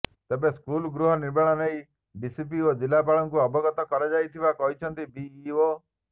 ତେବେ ସ୍କୁଲ ଗୃହ ନିର୍ମାଣ ନେଇ ଡିପିସି ଓ ଜିଲ୍ଲାପାଳଙ୍କୁ ଅବଗତ କରାଯାଇଥିବା କହିଛନ୍ତି ବିଇଓ